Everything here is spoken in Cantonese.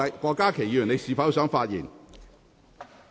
郭家麒議員，你是否想發言？